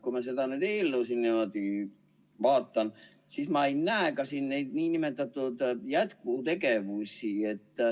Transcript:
Kui ma seda eelnõu siin vaatan, siis ma ei näe siin ka neid nn jätkutegevusi.